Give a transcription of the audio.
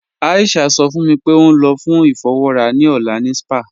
Aisha sọ fún mí pé ó n lọ fún ifọ̀wọra ni ọlá ni spa.